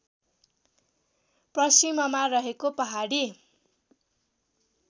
पश्चिममा रहेको पहाडी